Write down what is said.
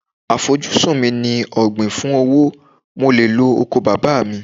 À fojú sí mi ní ọ̀gbìn fún owó, mo le lo oko bàbá mi.